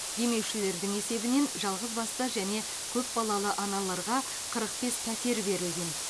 демеушілердің есебінен жалғыз басты және көпбалалы аналарға қырық бес пәтер берілген